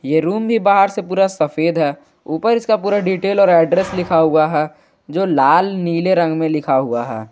ये रूम भी बाहर से पूरा सफेद है ऊपर इसका पूरा डिटेल और एड्रेस लिखा हुआ है जो लाल नीले रंग में लिखा हुआ है।